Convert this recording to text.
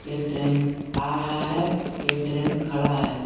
एक ट्रेन आ रहा है एक ट्रेन खड़ा है।